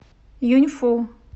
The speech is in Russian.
юньфу